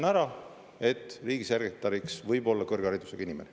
… muutis, et riigisekretäriks võib olla kõrgharidusega inimene.